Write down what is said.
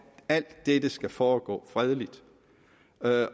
alt dette skal foregå fredeligt